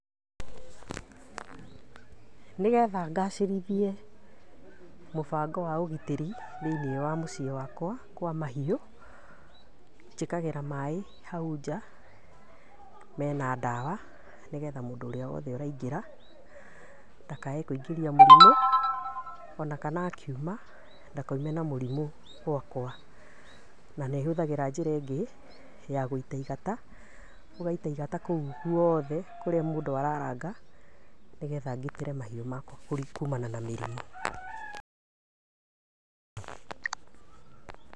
Nĩgetha ngacĩrithie mũbango wa ũgitĩri thĩinĩ wa mũciĩ wakwa kwa mahiũ, njĩkagĩra maĩ hau nja mena ndawa, nĩgetha mũndũ ũrĩa wothe ũraingĩra, ndakae kwĩingĩria mũrimũ, ona kana akiuma ndakaime na mũrimũ gwakwa, na nĩ hũthagĩra njĩra ĩngĩ, ya gwĩita igata, ũgaita igata kũu guothee kũrĩa mũndũ araranga, nĩgetha ngitĩre mahiũ makwa kũrĩ, kumana na mĩrimũ.